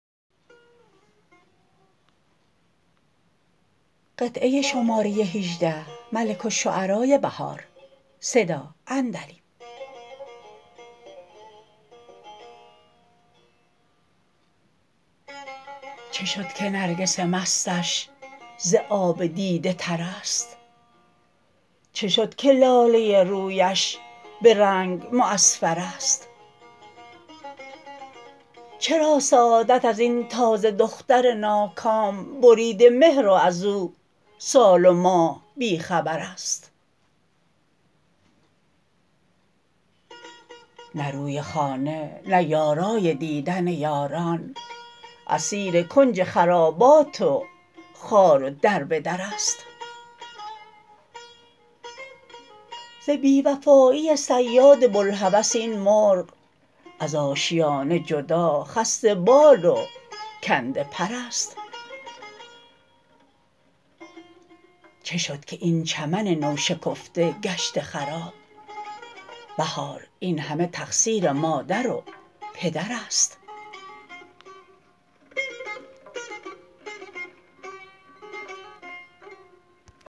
چه شد که نرگس مستش ز آب دیده تر است چه شد که لاله رویش به رنگ معصفر است چرا سعادت از ین تازه دختر ناکام بریده مهر و از او سال و ماه بی خبر است نه روی خانه نه یارای دیدن یاران اسیر کنج خرابات و خوار و دربدر است ز بی وفایی صیاد بلهوس این مرغ از آشیانه جدا خسته بال و کنده پر است چه شد که این چمن نوشکفته گشته خراب بهار این همه تقصیر مادر و پدر است